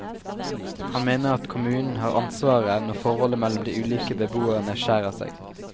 Han mener at kommunen har ansvaret når forholdet mellom de ulike beboerne skjærer seg.